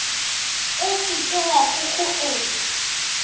o se ke wa kgokgoetša